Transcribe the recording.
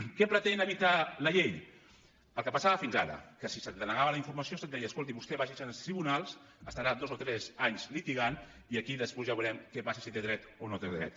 què pretén evitar la llei el que passava fins ara que si se’t denegava la informació se’t deia escolti vostè vagi se’n als tribunals estarà dos o tres anys litigant i aquí després ja veurem què passa si té dret o no té dret